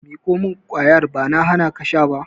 Ku miƙo mun kwayar! Ba na hanaku sha ba.